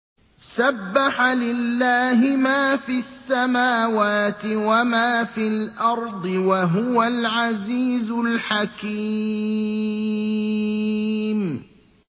سَبَّحَ لِلَّهِ مَا فِي السَّمَاوَاتِ وَمَا فِي الْأَرْضِ ۖ وَهُوَ الْعَزِيزُ الْحَكِيمُ